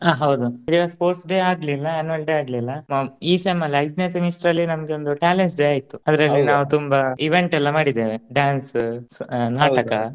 ಹ ಹೌದು ಇ ಸಲ sports day ಆಗ್ಲಿಲ್ಲ annual day ಆಗ್ಲಿಲ್ಲ ಈ sem ಅಲ್ಲಿ ಐದ್ನೆ semester ಅಲ್ಲಿ ನಮ್ಗೆ ಒಂದು talents day ಆಯ್ತು. ಅದ್ರಲ್ಲಿ ನಾವ್ ತುಂಬಾ event ಎಲ್ಲಾ ಮಾಡಿದೇವೆ dance ನಾಟಕ.